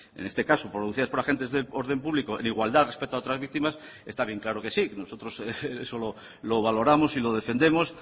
en este caso producidas por agentes del orden público en igualdad respecto a otras víctimas está bien claro que sí nosotros eso lo valoramos y lo defendemos